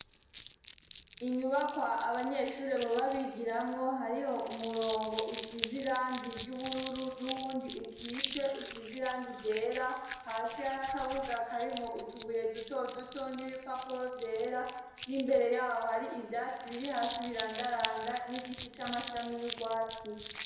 Inyubakwa abanyeshuri boba bigiramwo, hariho umurongo usize irangi ry'ubururu, n'uwundi ukitse usize irangi ryera, hasi hari akabuga karimwo utubuye duto duto n'ibipapuro vyera, n'imbere yaho hari ivyatsi biri hasi birandaranda, n'igiti c'amashami y'urwatsi.